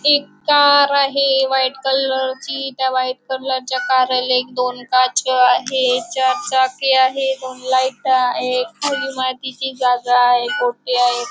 एक कार आहे व्हाईट कलरची त्या व्हाईट कलरच्या कारेला एक दोन काच आहे चार चाकी आहे. दोन लाईट आहे खाली मातीची जागा आहे कोठि आहे.